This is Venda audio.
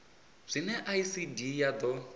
zwine icd ya d o